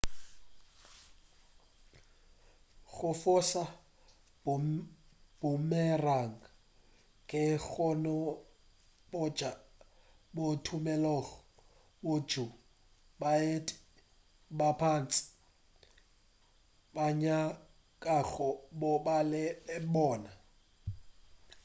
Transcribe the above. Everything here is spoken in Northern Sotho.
go foša boomerang ke bokgoni bjo bo tumilego bjoo baeti ba bantši ba nyakago go ba le bona